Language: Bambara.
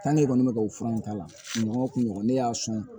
e kɔni bɛ ka o fura in k'a la nɔgɔ kun ɲɔgɔn ne y'a sɔn